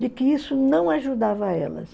de que isso não ajudava elas.